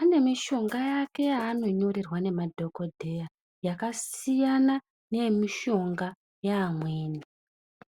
ane mishonga yake yaanonyorerwa nemadhogodheya yakasiyana neyemishonga yeamweni.